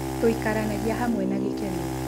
Tuikaranagĩa hamwe na gĩkeno